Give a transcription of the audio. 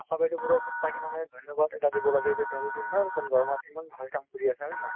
আশা বাইদেউ বোৰক সঁচাকে মানে ধন্যবাদ এটা দিব লাগে যে তেওঁলোকে ইমান কম দৰমহাত ইমান ভাল কাম কৰি আছে , হয় নে নহয়।